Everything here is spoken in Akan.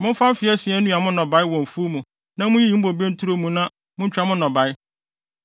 Momfa mfe asia nnua mo nnɔbae wɔ mo mfuw mu na munyiyi mo bobe nturo mu na muntwa mo nnɔbae.